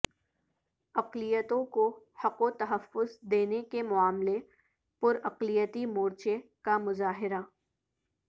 اقلیتوں کو حق و تحفظ دینے کے معاملہ پر اقلیتی مورچہ کا مظاہرہ